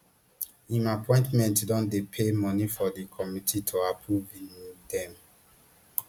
im appointees don dey pay moni for di committee to approve um dem